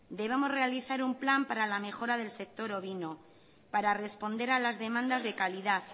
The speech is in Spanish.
debemos realizar un plan para la mejora del sector ovino para responder a las demandas de calidad